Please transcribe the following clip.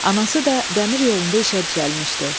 Anası da dəmir yolunda işə düzəlmişdi.